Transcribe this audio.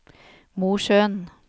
Mosjøen